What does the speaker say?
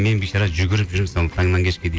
мен бейшара жүгіріп жүремін сол таңнан кешке дейін